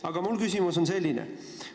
Aga mu küsimus on selline.